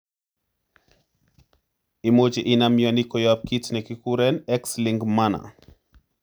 Imuche inam mioni koyop kit ne kigiguren x link manner.